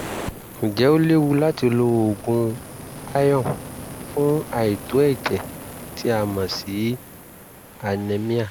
ǹjẹ́ ó léwu láti lo oògùn iron fún àìtó ẹ̀jẹ̀ tí a mọ̀ sí anemia?